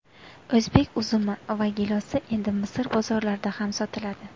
O‘zbek uzumi va gilosi endi Misr bozorlarida ham sotiladi.